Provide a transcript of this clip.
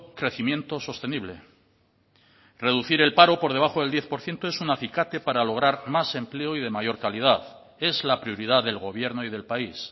crecimiento sostenible reducir el paro por debajo del diez por ciento es un acicate para lograr más empleo y de mayor calidad es la prioridad del gobierno y del país